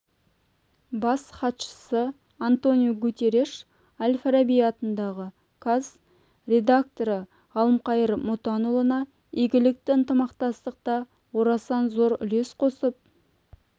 бас хатшысы антониу гутереш әл-фараби атындағы қаз ректоры ғалымқайыр мұтанұлына игілікті ынтымақтастықта орасан зор үлес қосып